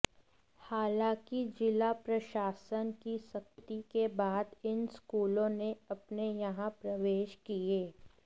हालांकि जिला प्रशासन की सख्ती के बाद इन स्कूलों ने अपने यहां प्रवेश किए